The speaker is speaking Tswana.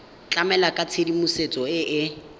tlamela ka tshedimosetso e e